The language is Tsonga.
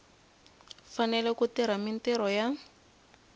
fanele ku tirha mintirho ya